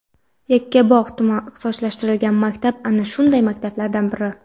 Yakkabog‘ tuman ixtisoslashtirilgan maktabi ana shunday maktablardan biri.